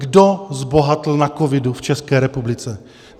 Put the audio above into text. Kdo zbohatl na covidu v České republice?